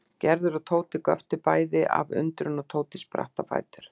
Gerður og Tóti göptu bæði af undrun og Tóti spratt á fætur.